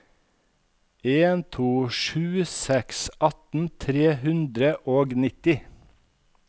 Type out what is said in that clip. en to sju seks atten tre hundre og nitti